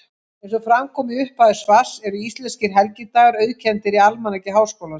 Eins og fram kom í upphafi svars eru íslenskir helgidagar auðkenndir í Almanaki Háskólans.